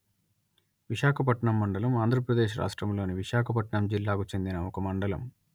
విశాఖపట్నం మండలం ఆంధ్ర ప్రదేశ్ రాష్ట్రములోని విశాఖపట్నం జిల్లాకు చెందిన ఒక మండలము